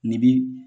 Ni bi